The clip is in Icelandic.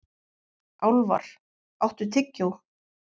Álfar, áttu tyggjó?